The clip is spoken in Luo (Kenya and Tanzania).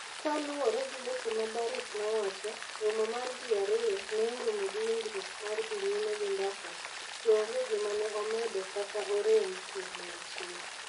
Kaluwore gi weche ma Barrick nowacho, romo mar ji ariyo ne orumo gi winjruok mar dhi nyime gi mbaka, to onge gima ne omedo kata orem kuom wachno.